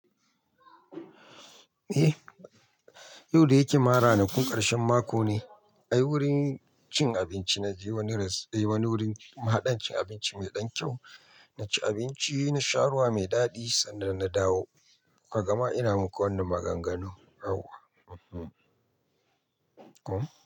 Eh, yau da yake ma ranakun ƙarshen mako ne. Ai wurin cin abinci na je wani res-- wani wurin mahaɗan cin abinci mai ɗan kyau. Na ci abinci, na sha ruwa mai daɗi sannan na dawo. Ka gama ina muku wannan maganganun yau. E hmmm. Ko?